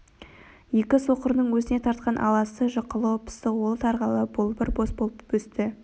екі соқырының өзіне тартқан аласы жұқалау пысық ал тарғылы болбыр бос болып өсті